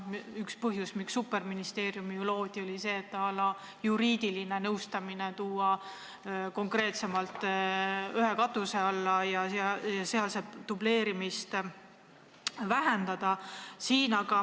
Üks põhjusi, miks loodi superministeerium, oli ju see, et juriidiline nõustamine tuli tuua ühe katuse alla ja dubleerimist vähendada.